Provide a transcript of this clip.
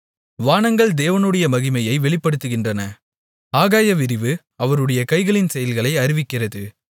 வானங்கள் தேவனுடைய மகிமையை வெளிப்படுத்துகின்றன ஆகாய விரிவு அவருடைய கைகளின் செயல்களை அறிவிக்கிறது